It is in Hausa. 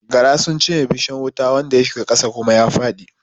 Gara sun cinye bishan wuta wanda ya shiga ƙasa kuma ya faɗi